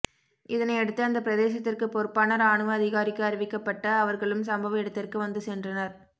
இதனையடுத்து அந்தப் பிரதேசத்திற்குப் பொறுப்பான இரானுவ அதிகாரிக்கு அறிவிக்கப்பட்டு அவர்களும் சம்பவ இடத்திற்கு வந்து சென்றனர்